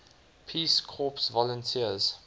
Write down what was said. peace corps volunteers